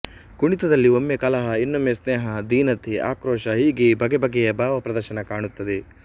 ಕುಣಿತದಲ್ಲಿ ಒಮ್ಮೆ ಕಲಹ ಇನ್ನೊಮ್ಮೆ ಸ್ನೇಹ ಧೀನತೆ ಆಕ್ರೋಶ ಹೀಗೆ ಬಗೆ ಬಗೆಯ ಭಾವ ಪ್ರದರ್ಶನ ಕಾಣುತ್ತದೆ